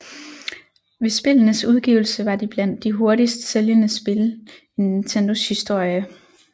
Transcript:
Ved spillenes udgivelse var de blandt de hurtigst sælgende spil in Nintendos historie